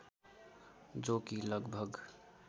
जो कि लगभग